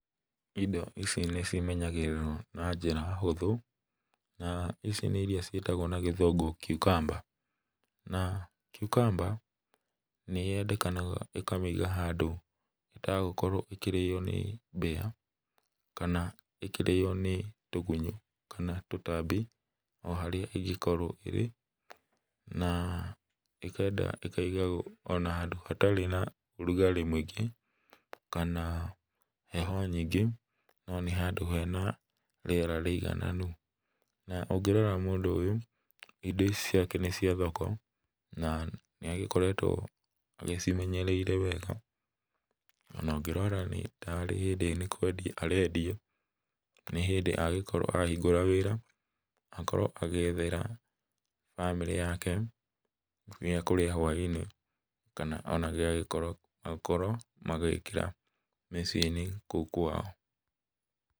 Indo ici nĩcimenyagĩrĩrwo na njĩra hũthũ, naa ici nĩ iria ciĩtagwo na Gĩthũmngũ cucumber. Naa, cucumber nĩyendekanaga ũkamĩiga handũ ĩtegũkorwo ĩkĩrĩo nĩ mbĩa kana ĩkĩrĩo nĩ tũgunyũ kana tũtambi o harĩa ĩngĩkorwo ĩrĩ, naa ĩkenda ĩkaigagwo ona handũ hatarĩ na rugarĩ mũingĩ, kana heho nyingĩ no nĩ handũ hena rĩera rĩigananu. Na, ũngĩrora mũndũ ũyũ, indo ici ciake nĩ cia thoko na nĩagĩkoretwo agĩcimenyereire wega, ona ũngĩrora nĩ ta rĩ hĩndĩ nĩ kwendia arendia, nĩ hĩndĩ agĩkorwo ahingũra wĩra, akorwo agĩethera bamĩrĩ yake gĩa kũrĩa hwa-inĩ kana ona gĩagĩkorwo, akorwo magĩkĩra mĩciĩ-inĩ kũu kwao.